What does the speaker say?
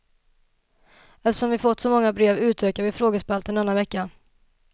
Eftersom vi har fått så många brev utökar vi frågespalten denna vecka.